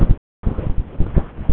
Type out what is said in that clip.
Ég sá eftir því í leigubílnum til